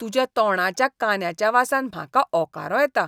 तुज्या तोंडाच्या कांद्याच्या वासान म्हाका ओंकारो येता.